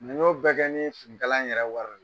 Nin y'o bɛɛ kɛ finikala yɛrɛ wa